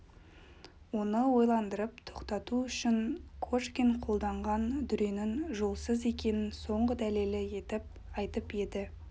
оны ойландырып тоқтату үшін кошкин қолданған дүренің жолсыз екенін соңғы дәлелі етіп айтып еді